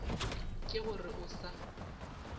ke go re o sa